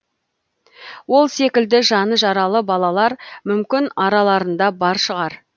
ол секілді жаны жаралы балалар мүмкін араларында бар шығар